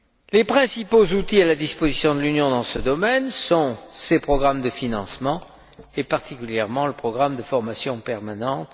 Les principaux outils à la disposition de l'Union dans ce domaine sont ses programmes de financement, et particulièrement le programme de formation permanente